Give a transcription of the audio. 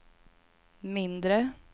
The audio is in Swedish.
mindre